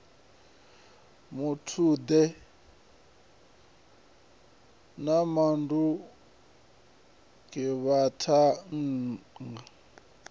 muthude na shandukani avha vhathannga